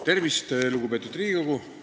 Tervist, lugupeetud Riigikogu!